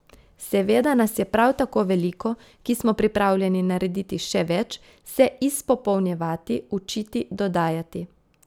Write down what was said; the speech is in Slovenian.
Seveda nas je prav tako veliko, ki smo pripravljeni narediti še več, se izpopolnjevati, učiti, dodajati.